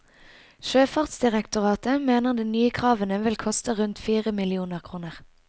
Sjøfartsdirektoratet mener de nye kravene vil koste rundt fire millioner kroner.